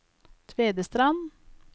Tvedestrand